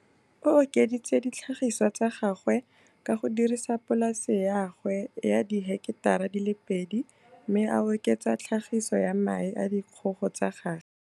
O okeditse ditlhagisiwa tsa gagwe ka go dirisa polase ya gagwe ya diheketara di le pedi mme a oketsa tlhagiso ya mae a dikgogo tsa gagwe.